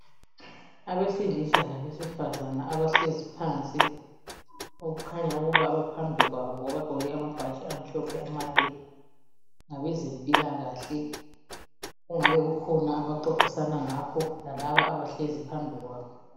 Abesilisa labesifazana abahlezi phansi, okukhanya ukuba baphambi kwabo abagqoke amabhatshi amhlophe amade, ngabezempilakahle kungabe kukhona abaxoxisana ngakho lalabo abahlezi phambi kwabo.